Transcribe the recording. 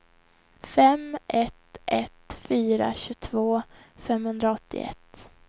fem ett ett fyra tjugotvå femhundraåttioett